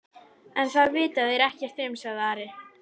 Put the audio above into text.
En það vita þeir ekkert um, sagði Ari.